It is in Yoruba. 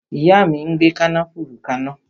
Ìyá mi ń gbe kànáfùrú kana